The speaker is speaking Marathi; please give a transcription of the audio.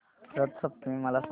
रथ सप्तमी मला सांग